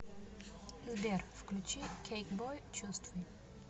сбер включи кейкбой чувствуй